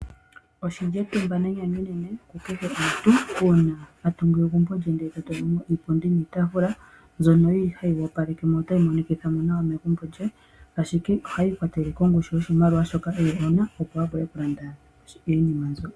Oshi li etumba nenyanyu enene uuna omuntu a tungu egumbo lye e ta tula mo iipundi niitaafula mbyono hayi opaleke mo nohayi monikitha mo nawa megumbo lye. Tashi ti ohashi ikwatelele kongushu yoshimaliwa shoka omuntu e na, opo a vule okulanda iinima mbyoka.